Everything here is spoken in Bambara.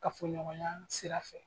Kafɔɲɔgɔnya sira fɛ.